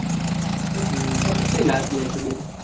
હમ કેટલી લગ લે છે bank